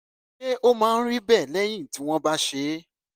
ṣé ó máa ń rí bẹ́ẹ̀ lẹ́yìn tí wọ́n bá ṣe é?